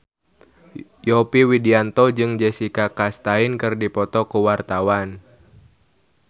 Yovie Widianto jeung Jessica Chastain keur dipoto ku wartawan